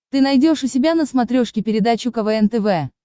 ты найдешь у себя на смотрешке передачу квн тв